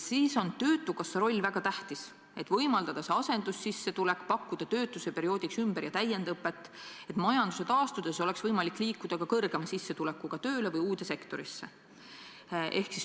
Siis on töötukassa roll väga tähtis: tuleb võimaldada asendussissetulekut, pakkuda töötuse perioodiks ümber- ja täiendõpet, et majanduse taastudes oleks võimalik saada kõrgema sissetulekuga tööd ja ehk liikuda uude sektorisse.